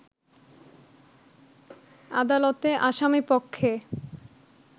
আদালতে আসামিপক্ষে